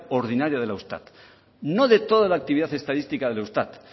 ordinaria del eustat no de toda la actividad estadística del eustat